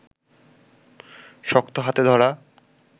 শক্ত হাতে ধরা